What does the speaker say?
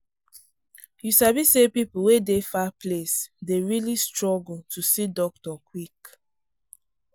you sabi say people wey dey far place dey really struggle to see doctor quick.